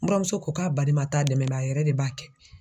Buramuso ko k'a baliman t'a dɛmɛ a yɛrɛ de b'a kɛ